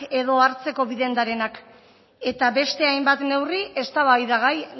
edo hartzeko biden darenak eta beste hainbat neurri eztabaidagai